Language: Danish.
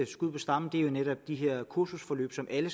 skud på stammen er jo netop de her kursusforløb som alle